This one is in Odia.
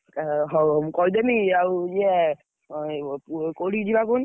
ହଉ ମୁଁ କହିଦେବି ଆଉ ଇଏ କୋଉଠିକି ଯିବା କହନି?